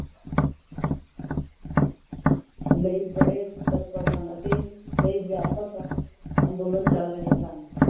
ਲਈ ਤੱਤਪਰ ਸਨ ਅਤੇ ਕਈ ਵਿਆਪਕ ਅੰਦੋਲਨ ਚੱਲ ਰਿਹੇ ਸਨ।